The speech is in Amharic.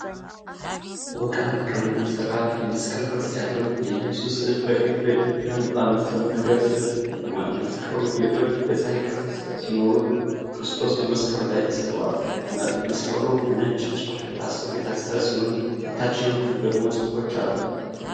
በወርቃማ ቀለም የተሰራ የመስቀል ቅርጽ ያለው የኢየሱስ ሥዕል በቀይ በጃንጥላ መሰል ነገር ስር ቆሟል። መስቀሉ ጌጦች በፀሐይ ቅርጽ ሲኖሩት፣ ክርስቶስ በመስቀሉ ላይ ተሰቅሎአል። መስቀሉ በ ነጭ ጨርቅ የታሰረ ሲሆን በታችኛው ክፍል ደግሞ ጽሑፎች አሉት።